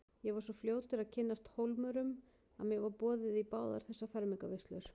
Ég var svo fljótur að kynnast Hólmurum að mér var boðið í báðar þessar fermingarveislur.